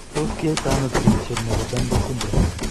Tos kiyai to ano chigilisiet nebo Danlos syndrome ?